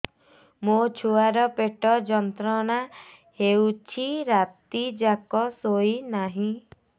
ମୋ ଛୁଆର ପେଟ ଯନ୍ତ୍ରଣା ହେଉଛି ରାତି ଯାକ ଶୋଇନାହିଁ